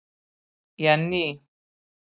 Jenný